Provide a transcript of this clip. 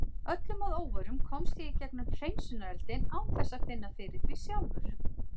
Öllum að óvörum komst ég í gegnum hreinsunareldinn án þess að finna fyrir því sjálfur.